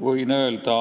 Võin öelda,